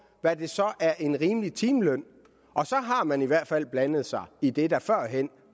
hvad der så er en rimelig timeløn og så har man i hvert fald blandet sig i det der førhen